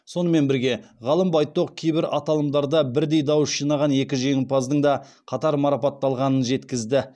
сонымен бірге ғалым байтоқ кейбір аталымдарда бірдей дауыс жинаған екі жеңімпаздың да қатар марапатталғанын жеткізді